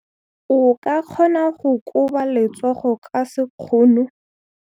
O ka kgona go koba letsogo ka sekgono.